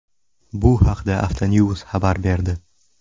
Bu haqda Autonews xabar berdi .